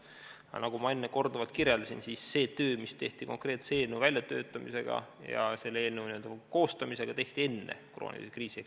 Aga nagu ma enne korduvalt kirjeldasin, see töö, mis tehti konkreetse eelnõu väljatöötamisel ja koostamisel, tehti enne kriisi.